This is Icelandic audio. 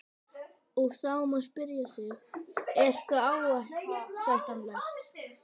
Og þá má spyrja sig, er það ásættanlegt?